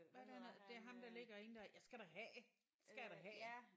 Hvad er det han hedder det er ham der ligger ind jeg skal da have det skal jeg da have